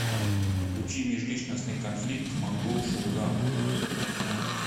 включи межличностный конфликт монгол шуудан